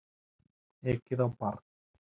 Ekið á barn